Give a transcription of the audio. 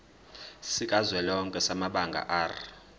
sikazwelonke samabanga r